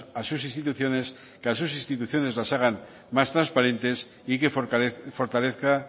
a sus instituciones que a sus instituciones las hagan más trasparentes y que fortalezca